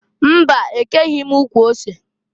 Mba! E keghi m ukwu ose.